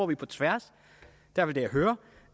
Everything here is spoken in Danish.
vi på tværs